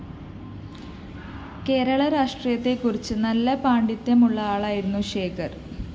കേരള രാഷ്ട്രീയത്തെക്കുറിച്ച് നല്ല പാണ്ഡിത്യമുള്ള ആളായിരുന്നു ശേഖര്‍